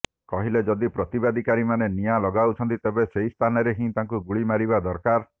କହିଲେ ଯଦି ପ୍ରତିବାଦକାରୀମାନେ ନିଆଁ ଲଗାଉଛନ୍ତି ତେବେ ସେହି ସ୍ଥାନରେ ହିଁ ତାଙ୍କୁ ଗୁଳିମାରିବା ଦରକାର